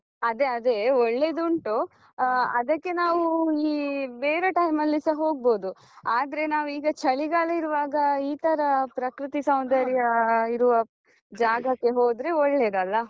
ಅದೆ ಅದೆ, ಒಳ್ಳೆದು ಉಂಟು, ಆ ಅದಕ್ಕೆ ನಾವೂ ಈ ಬೇರೆ time ಅಲ್ಲಿಸ ಹೊಗ್ಬೋದು, ಆದ್ರೆ ನಾವ್ ಈಗ ಚಳಿಗಾಲ ಇರುವಾಗ ಈತರ ಪ್ರಕೃತಿ ಸೌಂದರ್ಯ ಇರುವ ಜಾಗಕ್ಕೆ ಹೋದ್ರೆ ಒಳ್ಳೆದಲ್ಲ.